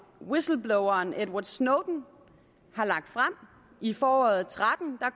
whistlebloweren edward snowden har lagt frem i foråret tretten